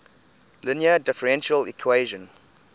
linear differential equation